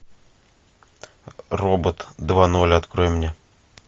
робот два ноль открой мне